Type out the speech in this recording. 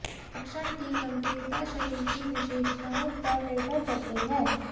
लक्षण की गंभीरता शरीर की विशेषताओं पर निर्भर करती है